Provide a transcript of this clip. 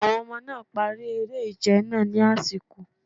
Àwọn ọmọ náà̀ parí eré ìje náà ní àsìkò.